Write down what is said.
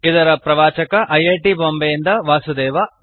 ಇದರ ಪ್ರವಾಚಕ I I T Bombay ಯಿಂದ ವಾಸುದೇವ